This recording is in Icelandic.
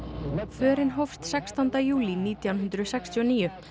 förin hófst sextánda júlí nítján hundruð sextíu og níu